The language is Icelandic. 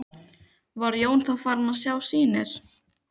Var Jón þá farinn að sjá sýnir.